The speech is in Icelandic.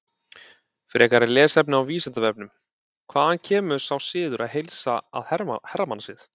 Frekara lesefni á Vísindavefnum: Hvaðan kemur sá siður að heilsa að hermannasið?